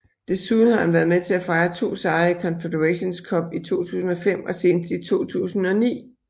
Desuden har han været med til at fejre to sejre i Confederations Cup i 2005 og senest i 2009